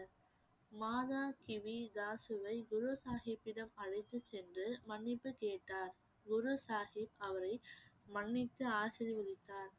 மாதா தாஸுவை குரு சாஹிப்பிடம் அழைத்துச் சென்று மன்னிப்பு கேட்டார் குரு சாஹிப் அவரை மன்னித்து ஆசிர்வதித்தார்